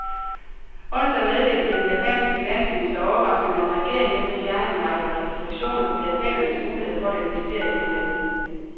Onsdag meddelte den japanske finansminister overraskende, at regeringen nu vil fjerne en række restriktioner på japanernes muligheder for at investere i udlandet.